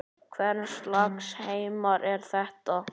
Hvers lags heimur er þetta?